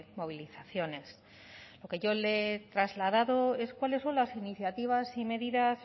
movilizaciones lo que yo le trasladado es cuáles son las iniciativas y medidas